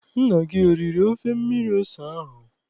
Nna gị eriri ofe mmiri ose ahụ?